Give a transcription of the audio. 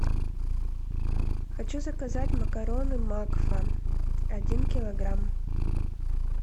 хочу заказать макароны макфа один килограмм